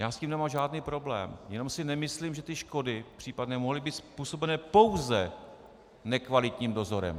Já s tím nemám žádný problém, jenom si nemyslím, že ty škody, případné, mohly být způsobené pouze nekvalitním dozorem.